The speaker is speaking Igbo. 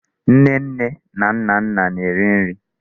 Nnenne na Nnanna na-eri nri.